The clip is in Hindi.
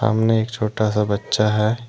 सामने एक छोटा सा बच्चा है।